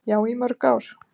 Já, í mörg ár.